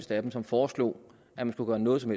dem som foreslog at man skulle gøre noget som